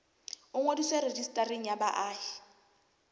o ngodiswe rejistareng ya baahi